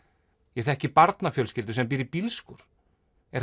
ég þekki barnafjölskyldu sem býr í bílskúr er